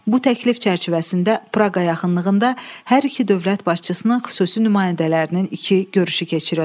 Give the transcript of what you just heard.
Bu təklif çərçivəsində Praqa yaxınlığında hər iki dövlət başçısının xüsusi nümayəndələrinin iki görüşü keçirildi.